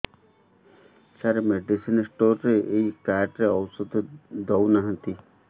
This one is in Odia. ସାର ମେଡିସିନ ସ୍ଟୋର ରେ ଏଇ କାର୍ଡ ରେ ଔଷଧ ଦଉନାହାନ୍ତି